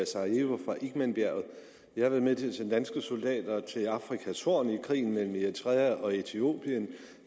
sarajevo fra igmanbjerget jeg har været med til at sende danske soldater til afrikas horn i krigen mellem eritrea og etiopien